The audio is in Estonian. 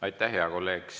Aitäh, hea kolleeg!